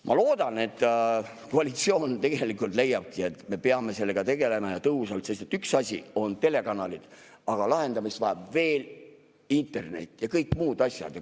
Ma loodan, et koalitsioon tegelikult leiabki, et me peame sellega tegelema, ja tõhusalt, sest üks asi on telekanalid, aga lahendamist vajab veel internet ja kõik muud asjad.